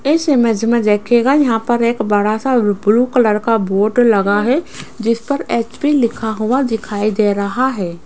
इस इमेज में देखिएगा यहां पर एक बड़ा सा ब्लू कलर का बोर्ड लगा है जिस पर एच_पी लिखा हुआ दिखाई दे रहा है।